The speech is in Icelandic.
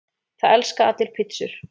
Það elska allir pizzur!